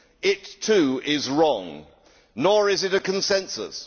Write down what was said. It, too, is wrong. Nor is it a consensus.